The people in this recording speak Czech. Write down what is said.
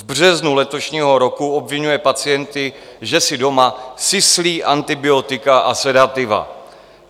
V březnu letošního roku obviňuje pacienty, že si doma syslí antibiotika a sedativa.